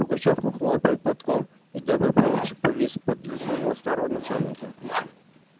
пугачёв махнул опять платком и добрый поручик повис подле своего старого начальника